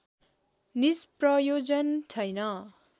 निष्प्रयोजन छैन